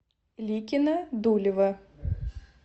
ликино дулево